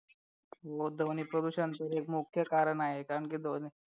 हो ध्वनी प्रदूषण तर एक मुख्य कारण आहे कारण की ध्वनी